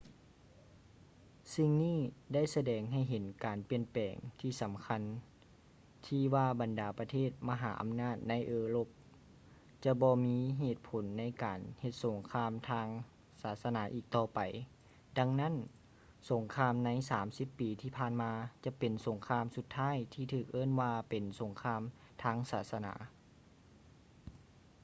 ສິ່ງນີ້ໄດ້ສະແດງໃຫ້ເຫັນການປ່ຽນແປງທີ່ສຳຄັນ ທີ່ວ່າບັນດາປະເທດມະຫາອຳນາດໃນເອີຣົບຈະບໍ່ມີເຫດຜົນໃນການເຮັດສົງຄາມທາງສາສະໜາອີກຕໍ່ໄປ ດັ່ງນັ້ນ ສົງຄາມໃນສາມສິບປີທີ່ຜ່ານມາຈະເປັນສົງຄາມສຸດທ້າຍທີ່ຖືກເອີ້ນວ່າເປັນ ສົງຄາມທາງສາສະໜາ